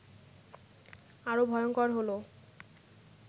আরো ভয়ঙ্কর হলো